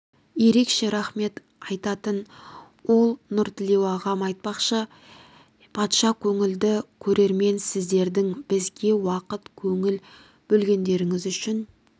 ерекше рахмет айтатын ол нұртілеу ағам айтпақшы патша көңілді көрермен сіздердің бізге уақыт көңіл бөлгендеріңіз үшін